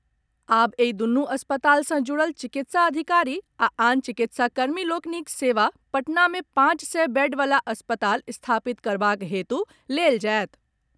आब एहि दूनु अस्पताल सँ जुड़ल चिकित्सा अधिकारी आ आन चिकित्साकर्मी लोकनिक सेवा पटना मे पांच सय बेड वला अस्पताल स्थापित करबाक हेतु लेल जायत।